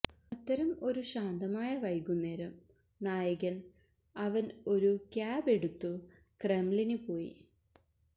അത്തരം ഒരു ശാന്തമായ വൈകുന്നേരം നായകൻ അവൻ ഒരു ക്യാബ് എടുത്തു ക്രെംലിന് പോയി